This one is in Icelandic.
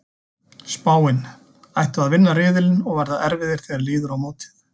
Spáin: Ættu að vinna riðilinn og verða erfiðir þegar líður á mótið.